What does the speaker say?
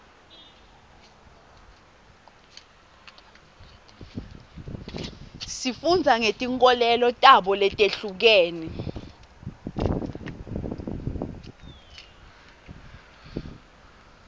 sifunda ngetinkolelo tabo letihlukene